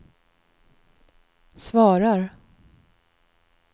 svarar